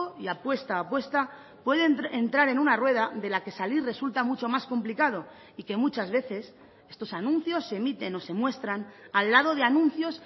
y apuesta a apuesta pueden entrar en una rueda de la que salir resulta mucho más complicado y que muchas veces estos anuncios se emiten o se muestran al lado de anuncios